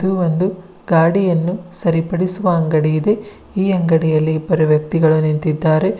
ಇದು ಒಂದು ಗಾಡಿಯನ್ನು ಸರಿಪಡಿಸುವ ಅಂಗಡಿ ಇದೆ ಈ ಅಂಗಡಿಯಲ್ಲಿ ಇಬ್ಬರು ವ್ಯಕ್ತಿಗಳು ನಿಂತಿದ್ದಾರೆ.